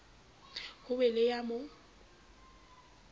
ho be le ya mo